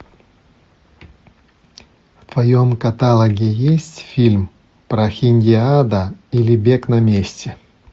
в твоем каталоге есть фильм прохиндиада или бег на месте